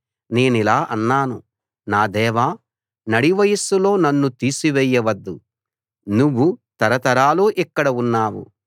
నేనిలా అన్నాను నా దేవా నడివయస్సులో నన్ను తీసి వేయవద్దు నువ్వు తరతరాలూ ఇక్కడ ఉన్నావు